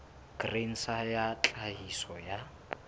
grain sa ya tlhahiso ya